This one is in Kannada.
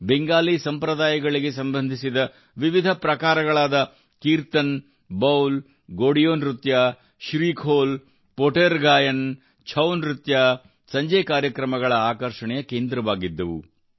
ಬೆಂಗಾಲಿ ಸಂಪ್ರದಾಯಗಳಿಗೆ ಸಂಬಂಧಿಸಿದ ವಿವಿಧ ಪ್ರಕಾರಗಳಾದ ಕೀರ್ತನೆ ಬೌಲ್ ಗೋಡಿಯೋ ನೃತ್ಯ ಶ್ರೀಖೋಲ್ ಪೋಟೆರ್ ಗಾಯನ ಛೌನೃತ್ಯ ಸಂಜೆ ಕಾರ್ಯಕ್ರಮಗಳ ಆಕರ್ಷಣೆಯ ಕೇಂದ್ರವಾಗಿದ್ದವು